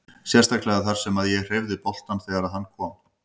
Sérstaklega þar sem að ég hreyfði boltann þegar að hann kom.